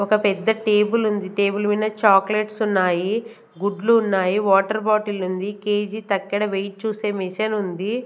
ఒక పెద్ద టేబులుంది టేబుల్ మినా చాక్లెట్స్ ఉన్నాయి గుడ్లు ఉన్నాయి వాటర్ బాటిలుంది కే_జీ తక్కెడ వెయిట్ చూసే మిషనుంది .